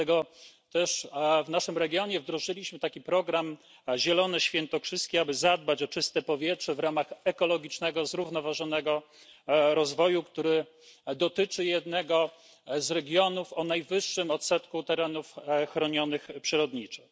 Dlatego też w naszym regionie wdrożyliśmy program Zielone świętokrzyskie, aby zadbać o czyste powietrze w ramach ekologicznego, zrównoważonego rozwoju, który dotyczy jednego z regionów o najwyższym odsetku terenów chronionych przyrodniczo.